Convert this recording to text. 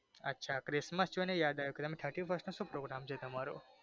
અચ્છા ક્રિસ્મસ જોઈ ને યાદ આવ્યું thirty first નો સુ program છે તમારો